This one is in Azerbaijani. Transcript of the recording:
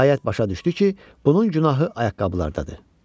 Nəhayət, başa düşdü ki, bunun günahı ayaqqabılardadı.